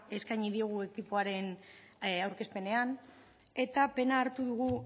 eskaini diogu ekipoaren aurkezpenean eta pena hartu dugu